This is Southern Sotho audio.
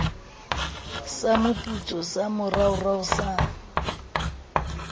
sa moputso sa moraorao sa